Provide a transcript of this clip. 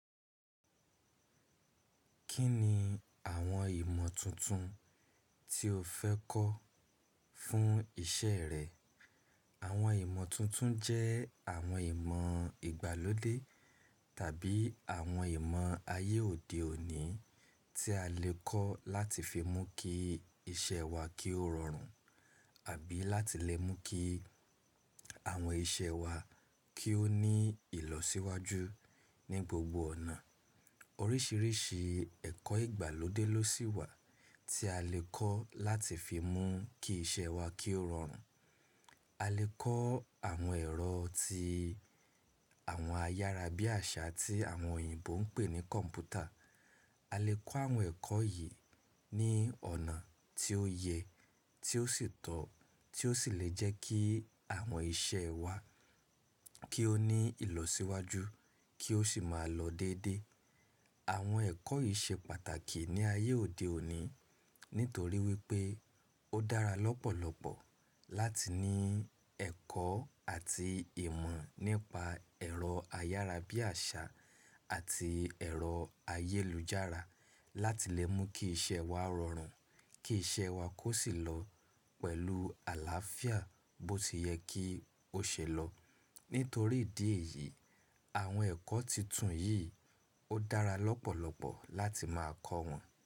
Kí ni àwọn ìmọ̀ tuntun tí o fẹ́ kọ́ fún ìṣe rẹ? Àwọn ìmọ̀ tuntun jẹ́ àwọn ìmọ̀ ìgbàlódé tàbí àwọn ìmọ̀ ayé òde òní tí a lè kọ́ láti fi mú kí iṣẹ́ wa kí ó rọrùn àbí láti lẹ mú kí àwọn iṣẹ́ wa kí ó ní ìlọsíwájú ní gbogbo ọ̀nà. Oríṣìíríṣìí ẹ̀kọ́ ìgbàlódé ló sì wà tí a lè kọ́ láti fi mú kí iṣẹ́ wa kí ó rọrùn. A lè kọ́ àwọn ẹ̀rọ ti àwọn ayára bí àṣá tí àwọn òyìnbó ń pè ní kọ̀m̀pútà. A lè kọ́ àwọn ẹ̀kọ́ yìí ní ọ̀nà tí ó yẹ, tí ó sì tọ́, tí ó sì lè jẹ́ kí àwọn iṣẹ́ wa kí ó ní ìlọsíwájú kí ó sì máa lọ dédé. Àwọn ẹ̀kọ́ yìí ṣe pàtàkì ní ayé òde òní nítorí wípé ó dára lọ́pọ̀lọpọ̀ láti ní ẹ̀kọ́ àti ìmọ̀ nípa ẹ̀rọ ayára bí àṣá àti ẹ̀rọ ayélujára láti lẹ mú kí iṣẹ́ wa rọrùn, kí iṣẹ́ wa kó sì lọ pẹ̀lú àlàáfíà bó ti yẹ kí ó ṣe lọ. Nítorí ìdí èyí, àwọn ẹ̀kọ́ tuntun yìí ó dára lọ́pọ̀lọpọ̀ láti máa kọ́ wọn.